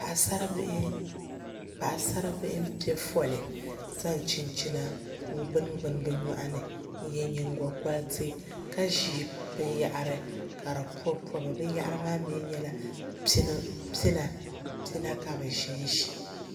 Paɣasaribihi n piɛ foli ka zaŋ chinchina n gbuni gbuni bi nyoɣani n yɛ nyingokoriti ka ʒi binyahari ka di pobi pobi binyahari maa mii nyɛla pina ka bi ʒinʒi